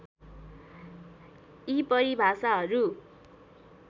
यी परिभाषाहरू